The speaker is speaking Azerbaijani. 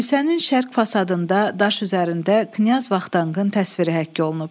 Kilsənin şərq fasadında daş üzərində knyaz Vaqtanın təsviri həkk olunub.